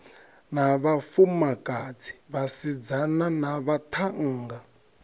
na vhafumakadzi vhasidzana na vhaṱhannga